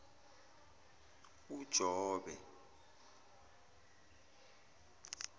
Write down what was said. ujobe